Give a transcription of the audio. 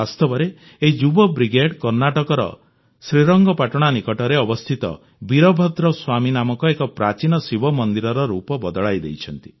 ବାସ୍ତବରେ ଏହି ଯୁବ ବ୍ରିଗେଡ୍ କର୍ଣ୍ଣାଟକର ଶ୍ରୀରଙ୍ଗପାଟଣା ନିକଟରେ ଅବସ୍ଥିତ ବୀରଭଦ୍ର ସ୍ୱାମୀ ନାମକ ଏକ ପ୍ରାଚୀନ ଶିବ ମନ୍ଦିରର ରୂପ ବଦଳାଇ ଦେଇଛନ୍ତି